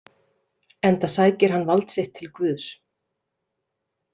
Enda sækir hann vald sitt til Guðs .